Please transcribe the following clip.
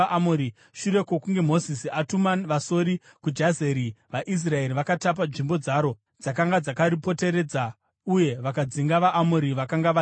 Shure kwokunge Mozisi atuma vasori kuJazeri, vaIsraeri vakatapa nzvimbo dzaro dzakanga dzakaripoteredza uye vakadzinga vaAmori vakanga vageremo.